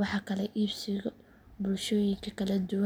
wax kala iibsiga bulshooyinka kala duwan.